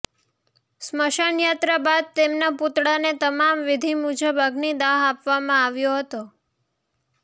સ્મશાન યાત્રા બાદ તેમના પૂતળાને તમામ વિધિ મુજબ અગ્નિ દાહ આપવામાં આવ્યો હતો